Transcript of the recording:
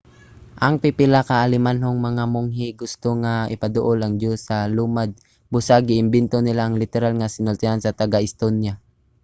ang pipila ka alemanhong mga monghe gusto nga ipaduol ang diyos sa mga lumad busa gi-imbento nila ang literal nga sinultian sa taga-estonia